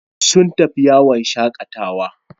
Sun fita yawon shakatawa.